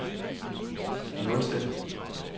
nulstil